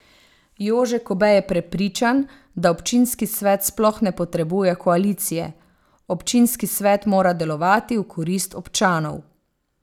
Jože Kobe je prepričan, da občinski svet sploh ne potrebuje koalicije: 'Občinski svet mora delovati v korist občanov.